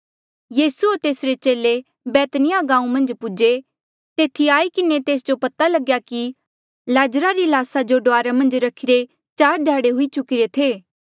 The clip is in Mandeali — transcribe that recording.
यीसू होर तेसरे चेले बैत्नीयाह गांऊँ मन्झ पूजे तेथी आई किन्हें तेस जो ये पता लग्या कि लाजरा री ल्हासा जो डुआर मन्झ रखीरे चार ध्याड़े हुई चुकिरे थे